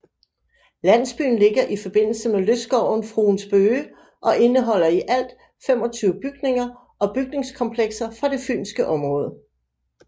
Landsbyen ligger i forbindelse med lystskoven Fruens Bøge og indeholder i alt 25 bygninger og bygningskomplekser fra det fynske område